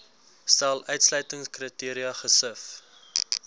stel uitsluitingskriteria gesif